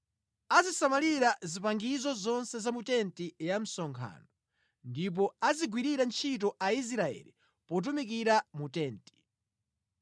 Azisamalira zipangizo zonse za mu tenti ya msonkhano, ndipo azigwirira ntchito Aisraeli potumikira mu tenti.